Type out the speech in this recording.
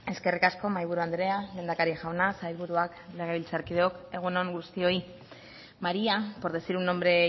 eskerrik asko mahaiburu andrea lehendakari jauna sailburuak legebiltzarkideok egun on guztioi maría por decir un nombre